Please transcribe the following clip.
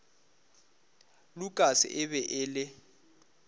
lukas e be e le